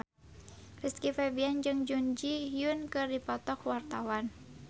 Rizky Febian jeung Jun Ji Hyun keur dipoto ku wartawan